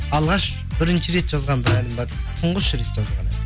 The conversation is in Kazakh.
алғаш бірінші рет жазған бір әнім бар тұңғыш рет жазған